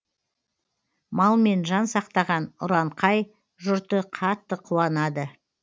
малмен жан сақтаған ұранқай жұрты қатты қуанады